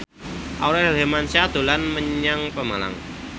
Aurel Hermansyah dolan menyang Pemalang